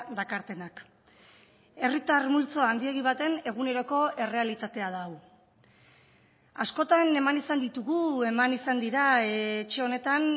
dakartenak herritar multzo handiegi baten eguneroko errealitatea da hau askotan eman izan ditugu eman izan dira etxe honetan